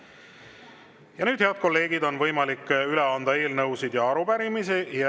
Ja nüüd, head kolleegid, on võimalik üle anda eelnõusid ja arupärimisi.